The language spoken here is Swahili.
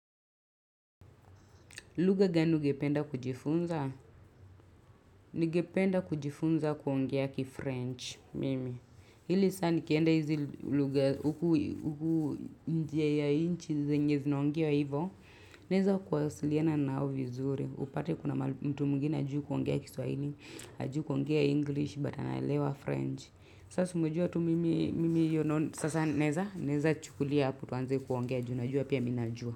Luga gani ungependa kujifunza, ningependa kujifunza kuongea kiFrench, mimi. Hili saa nikienda hizi luga, huku njia ya inchi zinyezinaongea hivo, neza kuwasiliana nao vizuri. Upate kuna mtu mungine ajuu kuongea ki Swahili, ajuu kuongea English, batana elewa French. Sasa mujua tu mimi yonon, sasa neza, neza chukulia hapo tuanze kuongea, juu apia minajua.